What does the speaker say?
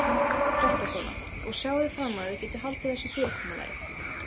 Fréttakona: Og sjáið þið fram á þið getið haldið þessu fyrirkomulagi?